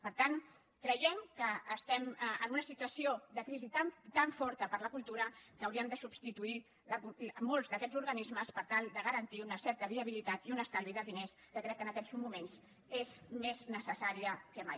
per tant creiem que estem en una situació de crisi tan forta per a la cultura que hauríem de substituir molts d’aquests organismes per tal de garantir una certa viabilitat i un estalvi de diners que crec que en aquests moments és més necessari que mai